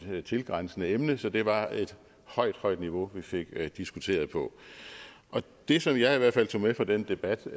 tilgrænsende emne så det var et højt højt niveau vi fik diskuteret på det som jeg i hvert fald tog med fra den debat